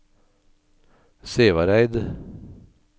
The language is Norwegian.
Sævareid